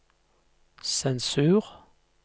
sensur